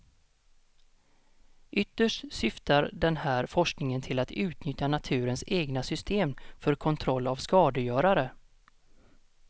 Ytterst syftar den här forskningen till att utnyttja naturens egna system för kontroll av skadegörare.